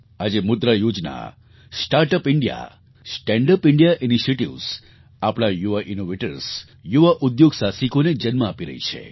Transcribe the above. આજે મુદ્રા યોજના start up India stand up India initiatives આપણા યુવા ઇનૉવેટર્સ યુવા ઉદ્યોગ સાહસિકોને જન્મ આપી રહી છે